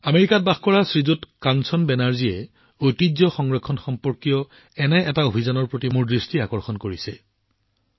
আমেৰিকাত বাস কৰা শ্ৰীমান কাঞ্চন বেনাৰ্জীয়ে ঐতিহ্য সংৰক্ষণ সম্পৰ্কীয় এনে এটা অভিযানৰ প্ৰতি মোৰ দৃষ্টি আকৰ্ষণ কৰিছে